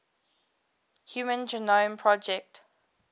human genome project